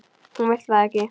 Hún vill það ekki.